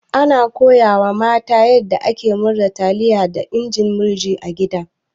Ana koya wa mata yanda ake murza taliya da injin murji a gida.